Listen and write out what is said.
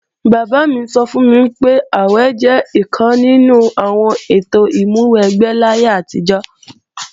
Bàbá mi sọ fún mi pé, àwè jẹ́ ọ̀kan nínú àwọn ètò ìmúwẹgbẹ́ láyé àtijọ́